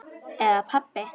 Eða pabbi.